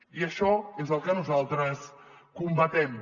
i això és el que nosaltres combatem